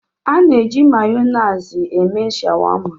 A na-eji Mayonezi eme shawama